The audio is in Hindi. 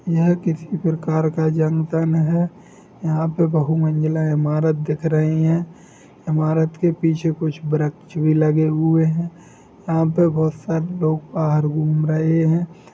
यह किसी प्रकार का जनतन है यहाँ पे बहु मंजिला इमारत दिख रही है इमारत के पीछे कुछ वृक्ष भी लगे हुए है यहां पर बहुत सारे लोग बाहर घूम रहे है।